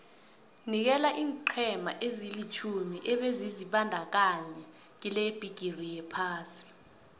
nikela iinqhema ezilitjhumi ebezizibandakanye kilebhigiri yephasi